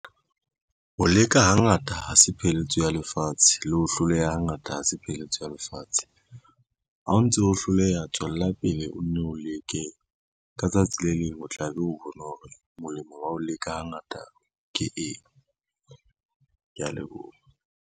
Ho leka hangata ha se pheletso ya lefatshe, le ho hloleha ha ngata ha se pheletso ya lefatshe. Ha o ntso hloleha tswella pele o nne o leke, ka tsatsi le leng o tla be o bone hore molemo wa ho leka hangata ke eng, kea leboha.